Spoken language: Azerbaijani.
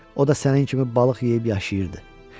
O da sənin kimi balıq yeyib yaşayırdı.